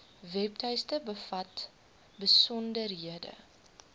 webtuiste bevat besonderhede